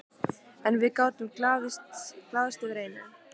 En við gátum glaðst yfir einu.